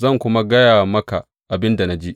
Zan kuma gaya maka abin da na ji.